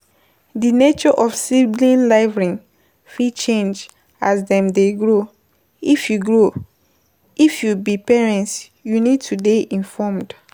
Di nature of sibling rivalry fit change as dem dey grow, if you grow, if you be parent you need to dey informed